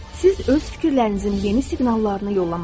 Siz öz fikirlərinizin yeni siqnallarını yollamalısınız.